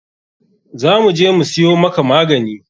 Za mu je mu siyo maka magani.